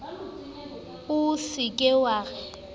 o sa ka wa re